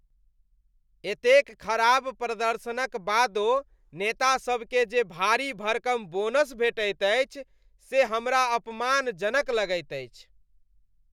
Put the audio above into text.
एतेक खराब प्रदर्शनक बादो नेतासबकेँ जे भारी भरकम बोनस भेटैत अछि से हमरा अपमानजनक लगैत अछि।